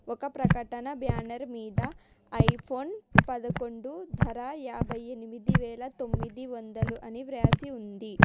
ఒక ప్రకటన బ్యానర్ మీద ఐఫోన్ పదకొండు ధర యాభై ఎనిమిది వేల తొమిడివాడలు అని రాసి ఉంది.